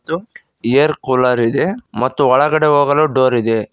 ಒಂದು air cooler ಇದೆ ಮತ್ತು ಒಳಗಡೆ ಹೋಗಲು ಡೋರ್ ಇದೆ.